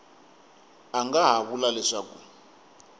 a nga ha vula leswaku